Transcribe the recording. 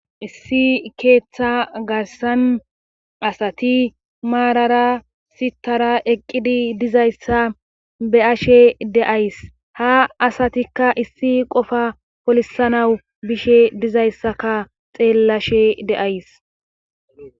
Issi keeththa garsan asati maarara sitara eqqidi dizayssa be ashe deays ha asatikka issi qofa polisanawu bishe dizayssaka xeellashe deays.